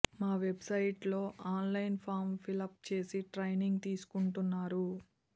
మా website లో online form fill up చేసి ట్రైనింగ్ తీసుకుంటున్నారు